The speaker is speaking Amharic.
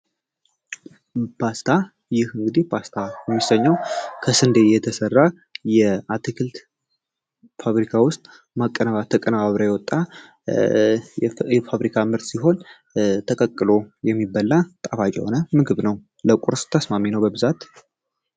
ፓስታ እንግዲህ ፓስታ የተሰኘው ከስንዴ የሚሠራ የአትክልት ፋብሪካ ውስጥ ተቀነባበሮ የወጣው ፋብሪካ ምርት ሲሆን ተቀቅሎ ስት መሰረት የሚበላ ጣፋጭ ነው ለቁርስ ተስማሚ ነው በብዛት።